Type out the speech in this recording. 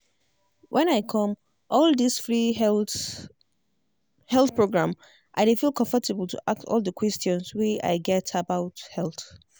when i come all this free health program health program i dey feel comfortable to ask all the questions wey i get about health.